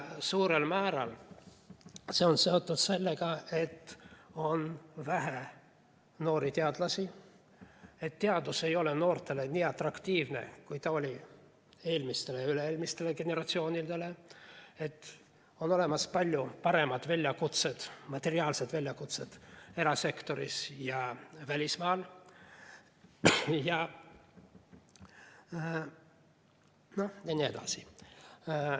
Suurel määral on see seotud sellega, et on vähe noori teadlasi, teadus ei ole noortele nii atraktiivne, kui ta oli eelmistele ja üle-eelmistele generatsioonidele, on olemas palju paremad väljakutsed, materiaalsed väljakutsed erasektoris ja välismaal jne.